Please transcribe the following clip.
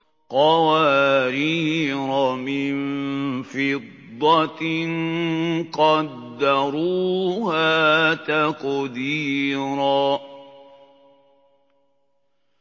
قَوَارِيرَ مِن فِضَّةٍ قَدَّرُوهَا تَقْدِيرًا